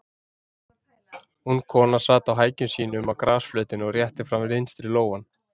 Ung kona sat á hækjum sínum á grasflötinni og rétti fram vinstri lófann.